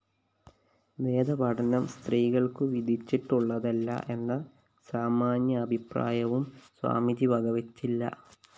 വേദപഠനം സ്ത്രീകള്‍ക്കു വിധിച്ചിട്ടുള്ളതല്ല എന്ന സാമാന്യാഭിപ്രായവും സ്വാമിജി വകവെച്ചില്ല